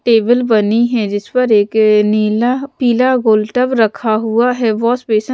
table बनी है जिसपर एक नीला पीला गोल टब रखा हुआ है वॉश बेसन --